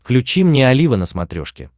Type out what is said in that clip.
включи мне олива на смотрешке